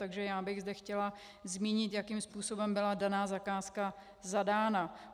Takže já bych zde chtěla zmínit, jakým způsobem byla daná zakázka zadána.